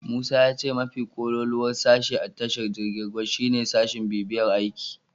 Musa ya ce mafi kololuwar sashe a tashar jirgin ruwa shine sashin bibiyar aiki.